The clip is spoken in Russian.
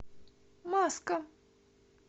маска